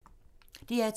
DR2